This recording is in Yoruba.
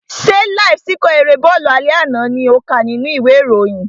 Ṣé láíf síkọ̀ erée bọ́ọ̀lù alẹ́ àná lò ń kà nínú ìwé ìròyìn?